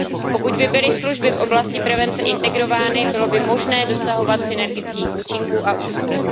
Pokud by byly služby v oblasti prevence integrovány, bylo by možné dosahovat synergických účinků a úspor.